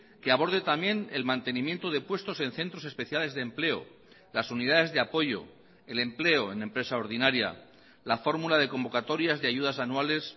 que aborde también el mantenimiento de puestos en centros especiales de empleo las unidades de apoyo el empleo en empresa ordinaria la fórmula de convocatorias de ayudas anuales